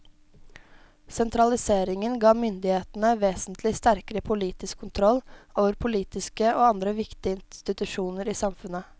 Sentraliseringen ga myndighetene vesentlig sterkere politisk kontroll over politiske og andre viktige institusjoner i samfunnet.